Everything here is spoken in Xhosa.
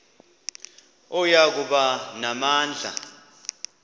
oya kuba namandla